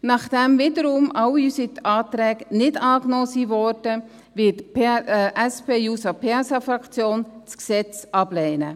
Nachdem wiederum alle unsere Anträge nicht angenommen wurden, wird die SP-JUSOPSA-Fraktion das Gesetz ablehnen.